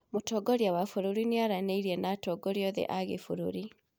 Mũtongoria wa bũrũri nĩ aranĩirie na atongoria othe a gĩbũrũri